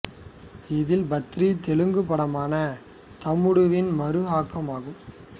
இதில் பத்ரி தெலுங்குப் படமான தம்முடுவின் மறு ஆக்கம் ஆகும்